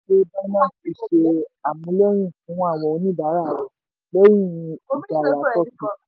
pé binance ti ṣe amúléyìí fún àwọn oníbàárà rẹ̀ lẹ́yìn ìjìyà turkey.